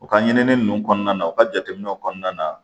U ka ɲinini ninnu kɔnɔna na u ka jateminɛw kɔnɔna na